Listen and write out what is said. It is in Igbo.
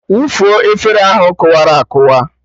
Wụfuo efere ahụ kụwara akụwa!